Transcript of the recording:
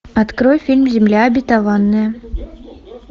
открой фильм земля обетованная